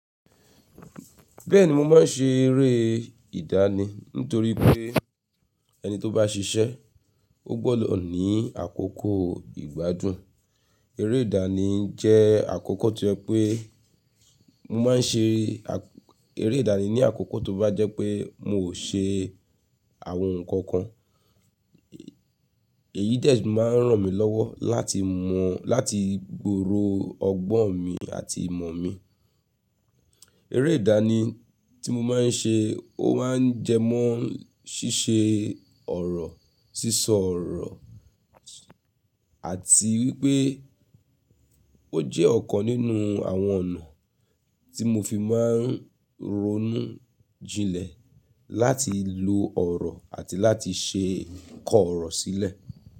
Bẹ́ẹ̀ni mo máa ń ṣe eré ìdánì nítorí pé ẹni tó bá ṣiṣẹ́ ó gbọ́dọ̀ ní àkókò ìgbádùn. Eré ìdánì jẹ́ àkókò to jẹ pé mo máa ń ṣe eré ìdánì ní àkókò tó bá jẹ́ pé mo ò ṣe àwọn nǹkan kan. Èyí de máa ń ràn mí lọ́wọ́ láti mọ̀ láti gbòrò ọgbọ́n mi àti ìmọ̀ mi. Eré ìdánì tí mo máa ń ṣe ó máa ń jẹ mọ́ ṣíṣe ọ̀rọ̀, sísọ ọ̀rọ̀ àti wípé ó jẹ́ ọ̀kan nínú àwọn ọ̀nà tí mo fi máa ń ronú jinlẹ̀ láti lo ọ̀rọ̀ àti láti ṣe ko ọ̀rọ̀ sílẹ̀.